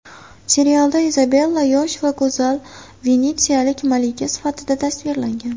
Serialda Izabella yosh va go‘zal venetsiyalik malika sifatida tasvirlangan.